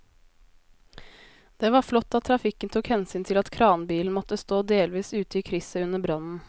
Det var flott at trafikken tok hensyn til at kranbilen måtte stå delvis ute i krysset under brannen.